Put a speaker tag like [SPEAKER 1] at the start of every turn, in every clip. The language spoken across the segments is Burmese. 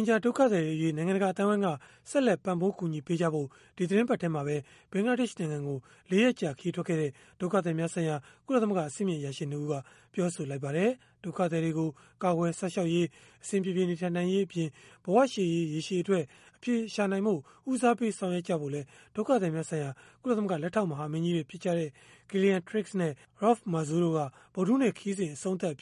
[SPEAKER 1] င်ဂျာ ဒုက္ခသည်တွေအရေး နိုင်ငံတကာ အသိုင်းအဝန်းက ဆက်လက် ပံ့ပိုးကူညီပေးကြဖို့ ဒီသီတင်းပတ်ထဲမှာပဲ ဘင်္ဂလားဒေ့ရှ်နိုင်ငံကို ၄ ရက်ကြာ ခရီးထွက်ခဲ့တဲ့ ဒုက္ခသည်များဆိုင်ရာ ကုလသမဂ္ဂ အဆင့်မြင့်အရာရှိ ၂ ဦးက ပြောဆိုလိုက်ပါတယ်။ ဒုက္ခသည်တွေကို ကာကွယ်စောင့်ရှောက်ရေး၊ အဆင်ပြေပြေ နေထိုင်နိုင်ရေးအပြင်၊ ဘဝရှေ့ရေး ရေရှည်အတွက် အဖြေရှာနိုင်ဖို့ ဦးစားပေး ဆောင်ရွက်ကြဖို့လည်း ဒုက္ခသည်များဆိုင်ရာ ကုလသမဂ္ဂ လက်ထောက်မဟာမင်းကြီးတွေ ဖြစ်ကြတဲ့ Gillian Triggs နဲ့ Raouf Mazou တို့က ဗုဒ္ဓဟူးနေ့ ခရီးစဉ် အဆုံးသတ်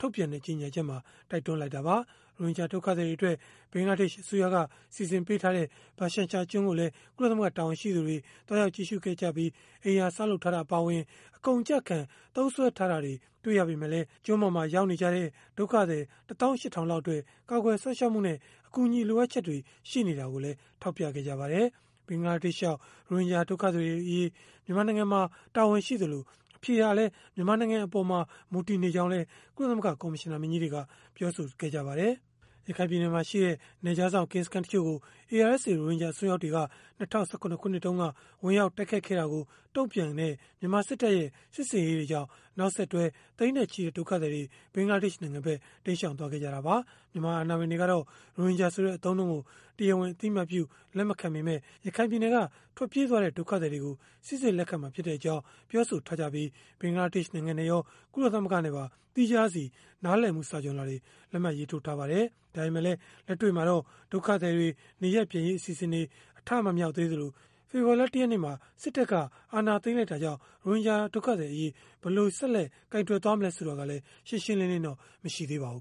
[SPEAKER 1] ထုတ်ပြန်တဲ့ ကြေညာချက်မှာ တိုက်တွန်းထားတာပါ။ ရိုဟင်ဂျာ ဒုက္ခသည်တွေအတွက် ဘင်္ဂလားဒေ့ရှ် အစိုးရက စီစဉ်ထားတဲ့ ဘာရှန်ချာကျွန်းကိုလည်း ကုလသမဂ္ဂ တာဝန်ရှိသူတွေ သွားရောက်ကြည့်ရှုခဲ့ရာမှာတော့ အိမ်ယာဆောက်လုပ်ထားတာ အပါအဝင် အကုန်အကျခံ သုံးစွဲထားတာတွေ တွေ့ရပေမဲ့လည်း ဘာရှန်ချာ ကျွန်းမှာ ရောက်နေကြတဲ့ ဒုက္ခသည် ၁၈,၀၀၀ လောက်အတွက် ကာကွယ်စောင့်ရှောက်မှုနဲ့ အကူအညီ လိုအပ်ချက်တွေ ရှိနေတာကိုလည်း ထောက်ပြခဲ့ပါတယ်။ ဘင်္ဂလားဒေ့ရှ်ရောက် ရိုဟင်ဂျာ ဒုက္ခသည်တွေအရေးအတွက် မြန်မာနိုင်ငံမှာ တာဝန်ရှိသလို၊ အဖြေဟာလည်း မြန်မာနိုင်ငံအပေါ် မူတည်နေကြောင်းလည်း ကုလသမဂ္ဂ ကော်မရှင်နာမင်းကြီးတွေက ပြောဆိုထားပါတယ်။ ရခိုင်ပြည်နယ်မှာရှိတဲ့ နယ်ခြားစောင့် ကင်းစခန်းတချို့ကို ARSA ရိုဟင်ဂျာ အစွန်းရောက်တွေက ၂၀၁၇ ခုနှစ်တုန်းက ဝင်ရောက်တိုက်ခိုက်ခဲ့တာကို တုံ့ပြန်တဲ့ မြန်မာစစ်တပ်ရဲ့ စစ်ဆင်ရေးတွေကြောင့် နောက်ဆက်တွဲ သိန်းနဲ့ချီတဲ့ ဒုက္ခသည်တွေ ဘင်္ဂလားဒေ့ရှ်နိုင်ငံဖက် တိမ်းရှောင်သွားခဲ့ကြတာပါ။ မြန်မာအာဏာပိုင်တွေကတော့ ရိုဟင်ဂျာဆိုတဲ့ အသုံးအနှုန်းကို တရားဝင် အသိအမှတ်ပြု လက်မခံပေမဲ့ ရခိုင်ပြည်နယ်က ထွက်ပြေးသွားတဲ့ ဒုက္ခသည်တွေကို စိစစ်လက်ခံမှာ ဖြစ်ကြောင်း ပြောဆိုထားပြီး၊ ဘင်္ဂလားဒေ့ရှ် နိုင်ငံနဲ့ရော ကုလသမဂ္ဂနဲ့ပါ သီးခြားစီ နားလည်မှု စာချွန်လွှာတွေ လက်မှတ်ရေးထိုးထားပါတယ်။ ဒါပေမဲ့လည်း လက်တွေ့မှာတော့ ဒုက္ခသည်တွေ နေရပ်ပြန်ရေး အစီအစဉ်တွေ အထမမြောက်သေးသလို၊ ဖေဖော်ဝါရီလ ၁ ရက်နေ့ စစ်တပ်က အာဏာသိမ်းလိုက်တာကြောင့် ရိုဟင်ဂျာ ဒုက္ခသည်အရေး ဘယ်လို ဆက်လက် ကိုင်တွယ်မလဲ ဆိုတာကလည်း ရှင်းရှင်းလင်းလင်းတော့ မရှိသေးပါဘူး